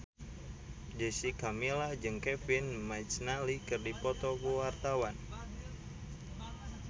Jessica Milla jeung Kevin McNally keur dipoto ku wartawan